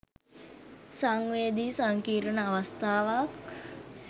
සංවේදි සංකීර්ණ අවස්ථාවක්.